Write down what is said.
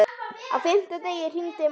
Á fimmta degi hringdi Mark.